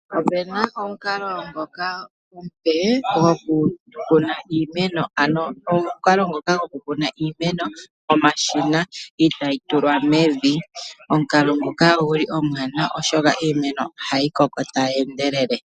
Opuna omukalo ngoka omupe, gwokukuna iimeno. Ano omukalo ngoka gwokukuna iimeno nomashina, itaayi tulwa mevi. Omukalo ngoka omwaanawa, oshoka ohayi koko tayi endelele.